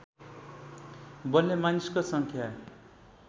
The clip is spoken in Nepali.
बोल्ने मानिसको सङ्ख्या